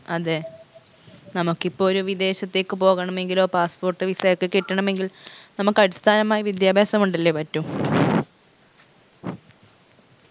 അതെ നമക്കിപ്പൊ ഒരു വിദേശത്തേക്ക് പോകണമെങ്കിലോ passport visa യൊക്കെ കിട്ടണമെങ്കിൽ നമക്ക് അടിസ്ഥാനമായ വിദ്യാഭ്യാസം കൊണ്ടല്ലേ പറ്റൂ